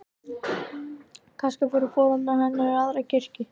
Kannski fóru foreldrar hennar í aðra kirkju.